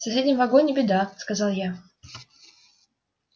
в соседнем вагоне беда сказал я